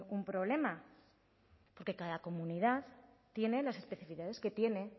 un problema porque cada comunidad tiene las especificidades que tiene